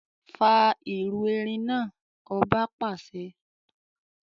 Fà irú erin náà! Ọba pàṣẹ.